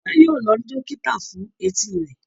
Tope yíò lọ rí dókítà fún Etí rẹ.